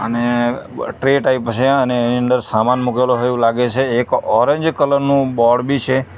અને tray type છે અને એની અંદર સામાન મુકેલો હોય એવું લાગે છે એક ઓરેન્જ કલર નું બોર્ડ બી છે.